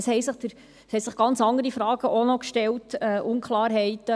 Es stellten sich noch ganz andere Fragen und Unklarheiten.